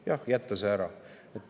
Jah, jätta see ära.